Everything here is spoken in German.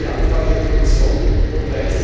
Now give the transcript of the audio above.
Meine diesbezügliche Anfrage an die Kommission vom